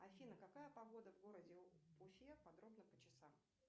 афина какая погода в городе уфе подробно по часам